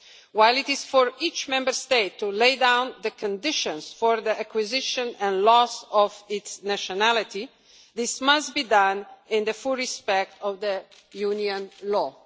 While it is for each Member State to lay down the conditions for the acquisition and loss of its nationality, this must be done in full respect of Union law.